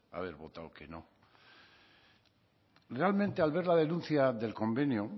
haber votado que no realmente al ver la denuncia del convenio